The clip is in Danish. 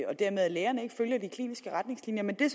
lægerne dermed ikke følger de kliniske retningslinjer men det er